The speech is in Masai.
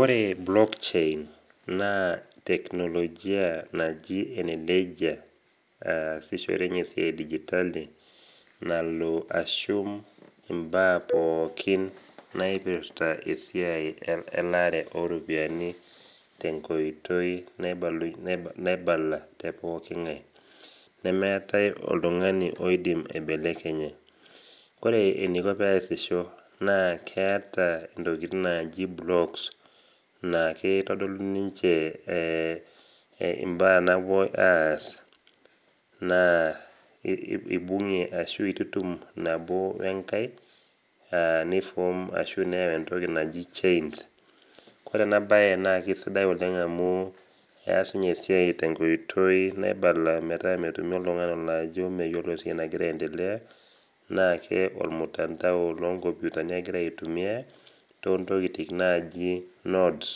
Ore block chain naa teknolojia ebeljia naasishore ninye esiai edigitali nalo aitasheki esiai pookin naipirta elaare ooropiyiani nainyala tepooki ngae. nemeeta oltungani oidim aibelekenya ,ore eniko pee eesisho naa keeta ntokiting naaji blocks naa kitodolu ninche mbaa naapoi aas naa ibungie ninye nabo wekae neyau entoki naji chains, ore ena siai naa isidai ninye oleng amu kees ninye esiai tenkoitoi naibala metaa metumi oltungani olo ajo meyiolo esiai nagira aendelea naa ormutandao loonkomputani egira aitumiyia toontokiting naaji notes.